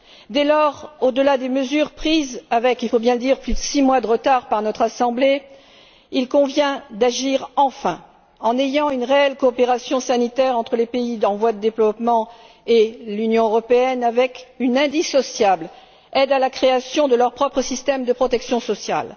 Dès lors, au delà des mesures prises avec il faut bien le dire plus de six mois de retard par notre Assemblée, il convient d'agir enfin, en ayant une réelle coopération sanitaire entre les pays en voie de développement et l'Union européenne avec une indissociable aide à la création de leur propre système de protection sociale.